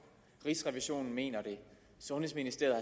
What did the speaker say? rigsrevisionen mener det sundhedsministeriet